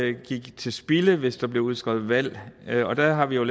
ikke gik til spilde hvis der blev udskrevet valg og der har vi jo